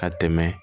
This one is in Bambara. Ka tɛmɛ